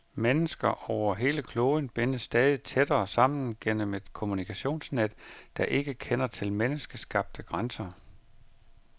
Mennesker over hele kloden bindes stadig tættere sammen gennem et kommunikationsnet, der ikke kender til menneskeskabte grænser.